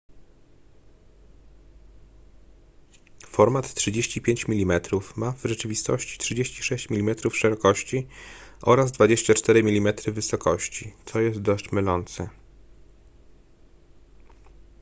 format 35 mm ma w rzeczywistości 36 mm szerokości oraz 24 mm wysokości co jest dość mylące